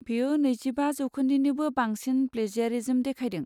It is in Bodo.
बेयो नैजिबा जौखोन्दोनिबो बांसिन प्लेजियारिज्म देखायदों।